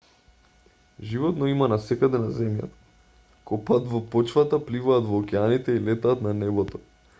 животно има насекаде на земјата копаат во почвата пливаат во океаните и летаат на небото